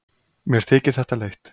Mér þykir þetta leitt.